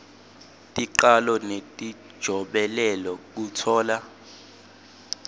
ticalo netijobelelo kutfola